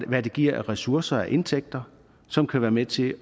hvad det giver af ressourcer i indtægter som kan være med til